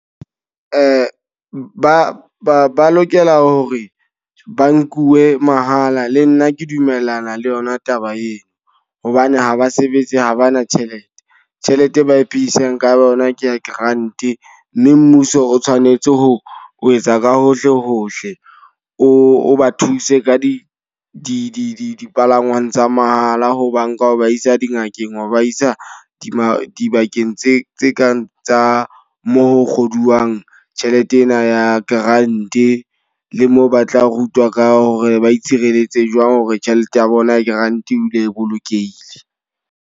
Ba ba lokela hore ba nkuwe mahala le nna ke dumellana le yona taba eo. Hobane haba sebetse habana tjhelete. Tjhelete e ba iphedisang ka yona ke ya grant. Mme mmuso o tshwanetse ho etsa ka hohle hohle, o ba thuse ka di dipalangwang tsa mahala. Ho ba nka ba iswa dingakeng ho ba isa dibakeng dibakeng tse tse kang tsa mo ho kgodiswang tjhelete ena ya grant. Le moo ba tla rutwa ka hore ba itshireletse jwang hore tjhelete ya bona ya grant e dule e bolokehile.